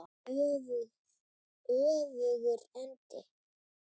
Öfugur endi.